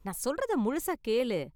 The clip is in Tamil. நான் சொல்றத முழுசா கேளு.